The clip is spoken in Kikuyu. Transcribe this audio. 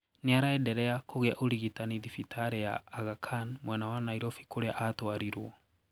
Niaraenderea kũgia ũrigitani thibitari ya Aga Khan mwena wa Nairobi kũria atwarirwo.